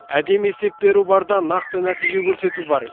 әдемі есеп беру бар да нақты нәтиже көрсету бар